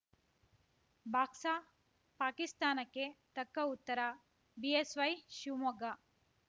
box ಪಾಕಿಸ್ತಾನಕ್ಕೆ ತಕ್ಕ ಉತ್ತರ ಬಿಎಸ್‌ವೈ ಶಿವಮೊಗ್ಗ